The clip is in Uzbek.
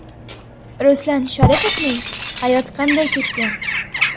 Ruslan Sharipovning hayoti qanday kechgan?.